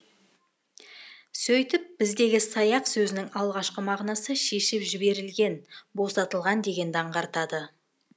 сөйтіп біздегі саяқ сөзінің алғашқы мағынасы шешіп жіберілген босатылған дегенді аңғартады